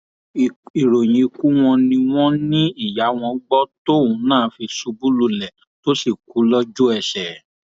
ìròyìn ikú wọn ni wọn ní ìyá wọn gbọ tóun náà fi ṣubú lulẹ tó sì kú lójú ẹsẹ